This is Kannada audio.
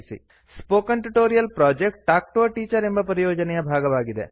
spoken tutorial project talk to a teacher ಎಂಬ ಪರಿಯೋಜನೆಯ ಭಾಗವಾಗಿದೆ